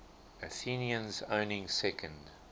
athenians owning second